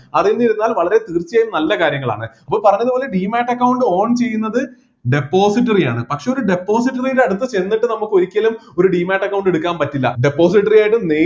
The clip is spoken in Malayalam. അറിഞ്ഞിരുന്നാൽ വളരെ തീർച്ചയായും നല്ല കാര്യങ്ങളാണ് അപ്പോ പറഞ്ഞതുപോലെ demate account own ചെയ്യുന്നത് depository ആണ് പക്ഷേ ഒരു depository യുടെ അടുത്ത് ചെന്നിട്ട് നമുക്ക് ഒരിക്കലും ഒരു demate account എടുക്കാൻ പറ്റില്ല depository ആയിട്ട് നേ